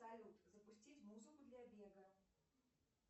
салют запустить музыку для бега